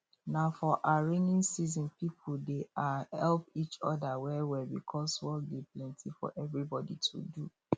na for um raining season people dey um help each other well well because work dey plenty for everybody to do